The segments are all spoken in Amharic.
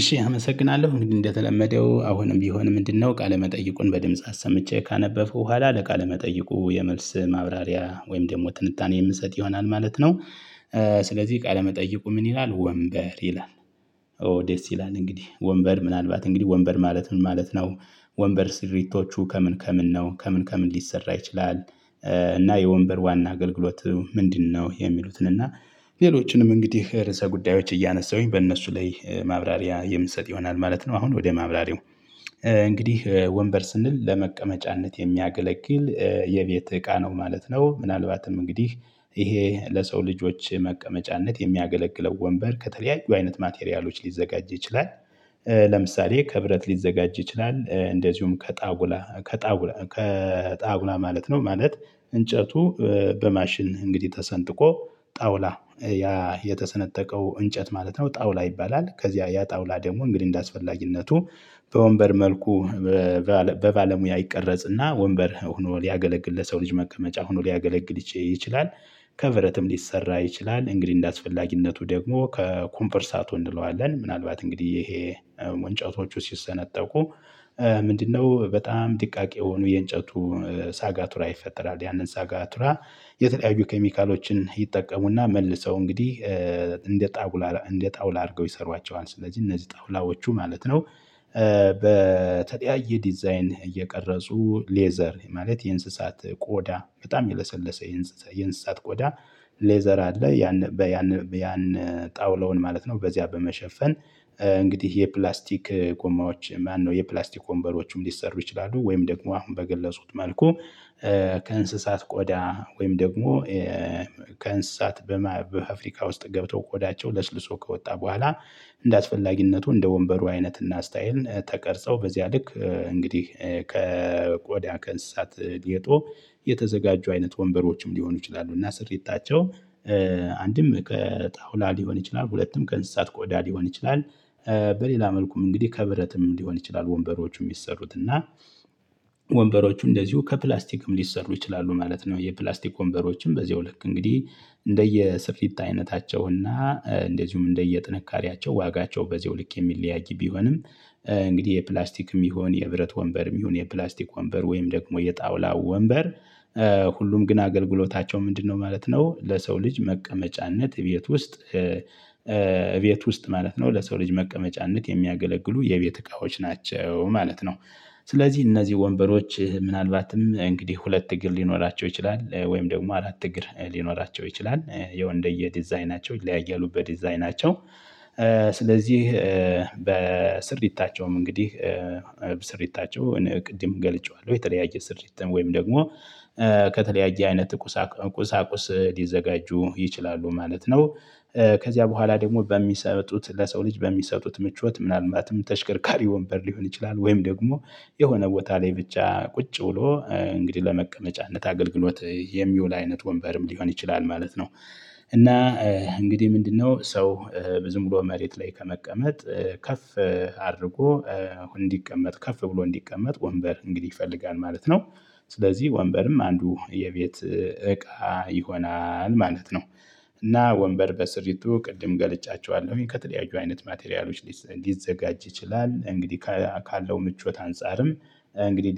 እሺ አመሰግናለሁ እንግዲህ እንደተለመደው አሁንም ቢሆን ምንድነው ቃለመጠይቁን በድምጽ አሰምቼ ካነበብኩ በኋላ ለቃለመጠይቁ የመልስ ማብራሪያ ወይም ደግሞ ትንታኔ የምንሰጥ ይሆናል ማለት ነው። ስለዚህ ቃለ መጠይቁ ምን ይላል? ወንበር ይላል። ኦ ደስ ይላል እንግዲህ ወንበር ምናልባት እንግዲህ ወንበር ማለት ምን ማለት ነው? ወንበር ስሪቶቹ ከምን ከምን ነው ከምን ከምን ሊሰራ ይችላል። እና የወንበር ዋና አገልግሎት ምንድነው? የሚሉትን እና ሌሎችንም እንግዲህ ርዕሰ ጉዳዮች እያነሳሁኝ በእነሱ ላይ ማብራሪያ የምሰጥ ይሆናል ማለት ነው። አሁን ወደ ማብራሪው። እንግዲህ ወንበር ስንል ለመቀመጫነት የሚያገለግል የቤት እቃ ነው ማለት ነው። ምናልባትም እንግዲህ ይሄ ለሰው ልጆች መቀመጫነት የሚያገለግለው ወንበር ከተለያዩ አይነት ማቴሪያሎች ሊዘጋጅ ይችላል። ለምሳሌ ከብረት ሊዘጋጅ ይችላል እንደዚሁም ከጣውላ ከጣውላ ከጣውላ ማለት ነው። ማለት እንጨቱ በማሽን እንግዲህ ተሰንጥቆ ጣውላ ያ የተሰነጠቀው እንጨት ማለት ነው ጣውላ ይባላል። ከዚያ ያ ጣውላ ደግሞ እንግዲህ እንደአስፈላጊነቱ በወንበር መልኩ በባለሙያ ይቀረጽና ወንበር ሆኖ ሊያገለግል ለሰው ልጅ መቀመጫ ሆኖ ሊያገለግል ይችላል። ከብረትም ሊሰራ ይችላል እንግዲህ እንደአስፈላጊነቱ ደግሞ ከኮንፖርሳቱ እንለዋለን ምናልባት እንግዲህ ይሄ እንጨቶቹ ሲሰነጠቁ። ምንድነው በጣም ደቃቅ የሆኑ የእንጨቱ ሳጋቱራ ይፈጠራል። ያንን ሳጋቱራ የተለያዩ ኬሚካሎችን ይጠቀሙና መልሰው እንግዲህ እንደ ጣውላ እንደ ጣውላ አድርገው ይሰሯቸዋል። ስለዚህ እነዚህ ጣውላዎቹ ማለት ነው። በተለያየ ዲዛይን እየቀረጹ ሌዘር ማለት የእንስሳት ቆዳ በጣም የለሰለሰ የእንስሳት ቆዳ ሌዘር አለ። ያን በያን ያን ጣውላውን ማለት ነው። በዚያ በመሸፈን እንግዲህ የፕላስቲክ ጎማዎች ማነው የፕላስቲክ ወንበሮችም ሊሰሩ ይችላሉ። ወይም ደግሞ አሁን በገለጹት መልኩ። ከእንስሳት ቆዳ ወይም ደግሞ ከእንስሳት በፋፍሪካ ውስጥ ገብቶ ቆዳቸው ለስልሶ ከወጣ በኋላ። እንደአስፈላጊነቱ እንደ ወንበሩ አይነት እና ስታይል ተቀርጸው በዚያ ልክ እንግዲህ ከቆዳ ከእንስሳት ሌጦ የተዘጋጁ አይነት ወንበሮችም ሊሆኑ ይችላሉ። እና ስሪታቸው አንድም ከጣውላ ሊሆን ይችላል ሁለትም ከ እንስሳት ቆዳ ሊሆን ይችላል። በሌላ መልኩም እንግዲህ ከብረትም ሊሆን ይችላል። ወንበሮቹ የሚሰሩት እና ወንበሮቹ እንደዚሁ ከፕላስቲክም ሊሰሩ ይችላሉ ማለት ነው። የፕላስቲክ ወንበሮችም በዚሁ ልክ እንግዲህ እንደየ ስፊት አይነታቸው እና እንደዚሁም እንደየ ጥንካሬያቸው ዋጋቸው በዚያው ልክ የሚለያያ ቢሆንም። እንግዲህ የፕላስቲክም ይሁን የብረት ወንበርም ይሁን የፕላስቲክ ወንበር ወይም ደግሞ የጣውላው ወንበር ሁሉም ግን አገልግሎታቸው ምንድነው? ማለት ነው ለሰው ልጅ መቀመጫነት እቤት ውስጥ እቤት ውስጥ ማለት ነው። ለሰው ልጅ መቀመጫነት የሚያገለግሉ የቤት እቃዎች ናቸው ማለት ነው። ስለዚህ እነዚህ ወንበሮች ምናልባትም እንግዲህ ሁለት እግር ሊኖራቸው ይችላል ወይም ደግሞ አራት እግር ሊኖራቸው ይችላል ያው እንደየ ዲዛይናቸው ይለያያሉ። በዲዛይናቸው ስለዚህ በስሪ ይታቸውም እንግዲህ ስርየታቸው ቅድም ገልጨዋለሁ የተለያየ ስርየትም ወይም ደግሞ ከተለያየ አይነት ቁሳቁስ ሊዘጋጁ ይችላሉ ማለት ነው። ከዚያ በኋላ ደግሞ በሚሰጡት ለሰው ልጅ በሚሰጡት ምቾት ምናልባትም ተሽከርካሪ ወንበር ሊሆን ይችላል። ወይም ደግሞ የሆነ ቦታ ላይ ብቻ ቁጭ ውሎ እንግዲህ ለመቀመጫነት አገልግሎት የሚውል አይነት ወንበርም ሊሆን ይችላል ማለት ነው። እና እንግዲህ ምንድነው? ሰው ዝም ብሎ መሬት ላይ ከመቀመጥ ከፍ አድርጎ አሁን እንዲቀመጥ ከፍ ብሎ እንዲቀመጥ ወንበር እንግዲህ ይፈልጋል ማለት ነው። ስለዚህ ወንበርም አንዱ የቤት እቃ ይሆናል ማለት ነው። እና ወንበር በስርይቱ ቅድም ገልጫቸዋለሁ ከተለያዩ አይነት ማቴሪያሎች ሊዘጋጅ ይችላል። እንግዲህ ካለው ምቾት አንፃርም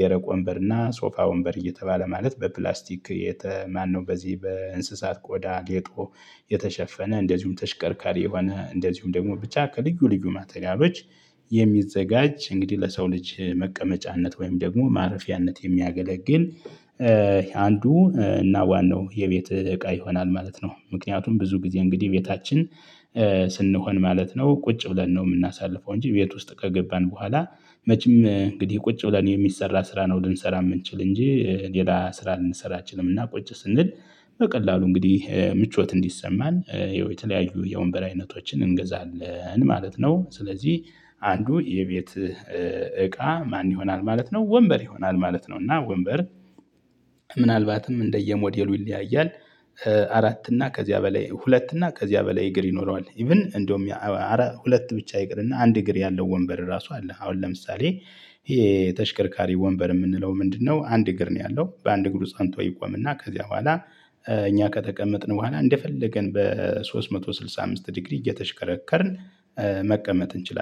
ደረቆ ወንበር እና ሶፋ ወንበር እየተባለ ማለት በፕላስቲክ ማነው? በዚህ በእንስሳት ቆዳ ጌጦ የተሸፈነ እንደዚሁም ተሽከርካሪ የሆነ እንደዚሁም ደግሞ ብቻ ከልዩ ልዩ ማተሪያሎች። እንግዲህ ለሰው ልጅ መቀመጫነት ወይም ደግሞ ማረፊያነት የሚያገለግል አንዱ እና ዋናው የቤት እቃ ይሆናል ማለት ነው። ምክንያቱም ብዙ ጊዜ እንግዲህ ቤታችን ስንሆን ማለት ነው ቁጭ ብለን ነው የምናሳልፈው። እንጂ ቤት ውስጥ ከገባን በኋላ መቼም እንግዲህ ቁጭ ብለን የሚሰራ ስራ ነው ልንሰራ የምንችል እንጂ ሌላ ስራ ልንሰራ አንችልምና። ቁጭ ስንል በቀላሉ እንግዲህ ምቾት እንዲሰማን የተለያዩ የወንበር አይነቶችን እንገዛለን ማለት ነው። ስለዚህ አንዱ የቤት እቃ ማን? ይሆናል ማለት ነው ወንበር ይሆናል ማለት ነው። እና ወንበር ምናልባትም እንደየሞዴሉ ይለያያል። አራት እና ከዚያ በላይ ሁለት እና ከዚያ በላይ እግር ይኖረዋል። ኢቭን እንደውም ሁለት ብቻ ይቅርና አንድ እግር ያለው ወንበር ራሱ አለ። አሁን ለምሳሌ ይሄ ተሽከርካሪ ወንበር የምንለው ምንድነው? አንድ እግር ነው ያለው። በአንድ እግሩ ፀንቶ ይቆምና ከዚያ በኋላ እኛ ከተቀመጥን በኋላ እንደፈለገን በሶስት መቶ ስልሳ አምስት ዲግሪ እየተሽከረከርን መቀመጥ እንችላለን